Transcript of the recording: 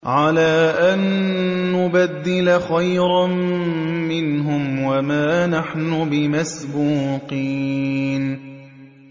عَلَىٰ أَن نُّبَدِّلَ خَيْرًا مِّنْهُمْ وَمَا نَحْنُ بِمَسْبُوقِينَ